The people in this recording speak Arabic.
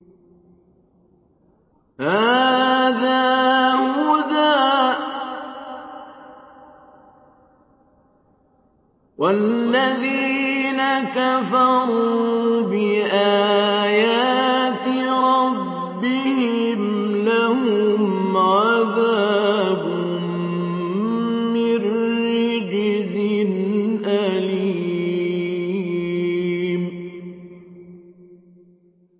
هَٰذَا هُدًى ۖ وَالَّذِينَ كَفَرُوا بِآيَاتِ رَبِّهِمْ لَهُمْ عَذَابٌ مِّن رِّجْزٍ أَلِيمٌ